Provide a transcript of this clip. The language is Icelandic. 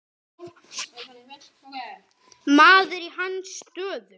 Maður í hans stöðu.